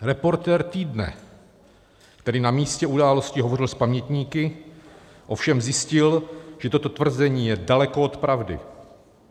Reportér Týdne, který na místě události hovořil s pamětníky, ovšem zjistil, že toto tvrzení je daleko od pravdy.